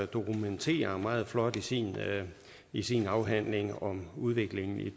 dokumenterer meget flot i sin i sin afhandling om udviklingen i